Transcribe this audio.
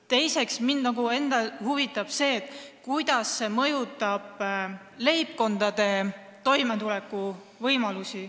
Teiseks huvitab mind, kuidas see mõjutab leibkondade toimetuleku võimalusi.